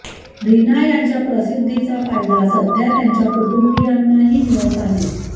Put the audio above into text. रिना यांच्या प्रसिद्धीचा फायदा सध्या त्यांच्या कुटुंबियांनाही मिळत आहे